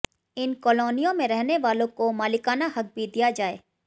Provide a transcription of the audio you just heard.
इन कॉलोनियों में रहने वालों को मालिकाना हक भी दिया जाए